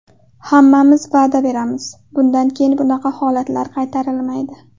Hammamiz va’da beramiz bundan keyin bunaqa holatlar qaytarilmaydi.